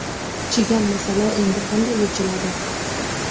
Chigal masala endi qanday yechiladi?.